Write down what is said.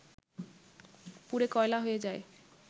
পুড়ে কয়লা হয়ে যায়